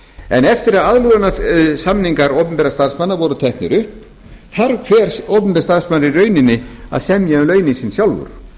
en eftir aðlögunarsamningar opinberra starfsmanna voru teknir upp þarf hver opinber starfsmaður í rauninni að semja um launin sín sjálfur